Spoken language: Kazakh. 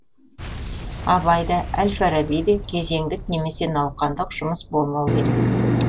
абай да әл фараби де кезеңдік немесе науқандық жұмыс болмау керек